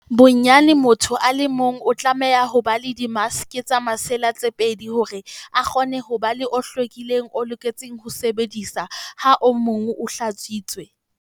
Bonyane motho a le mong o tlameha ho ba le dimaske tsa masela tse pedi hore a tle a kgone ho ba le o hlwekileng o loketseng ho sebediswa ha o mong o hlatswitswe.